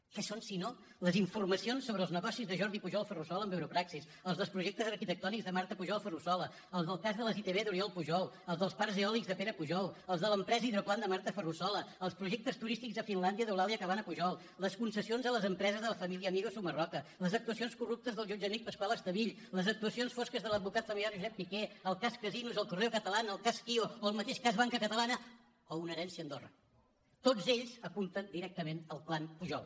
què són sinó les informacions sobre els negocis de jordi pujol ferrusola amb europraxis els projectes arquitectònics de marta pujol ferrusola els del cas de les itv d’oriol pujol els dels parcs eòlics de pere pujol els de l’empresa hidroplant de marta ferrusola els projectes turístics a finlàndia d’eulàlia cabana pujol les concessions a les empreses de la família amiga sumarroca les actuacions corruptes del jutge amic pascual estevill les actuacions fosques de l’advocat familiar josep piqué el cas casinos el correo catalán el cas gio o el mateix cas banca catalana o una herència a andorra tots ells apunten directament al clan pujol